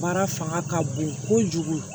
Baara fanga ka bon kojugu